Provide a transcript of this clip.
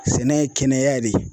Sɛnɛ ye kɛnɛya de ye.